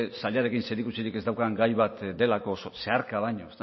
sailarekin zerikusirik ez daukan gai bat delako zeharka baino